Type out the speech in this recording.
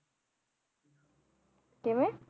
ਕਿਵੇਂ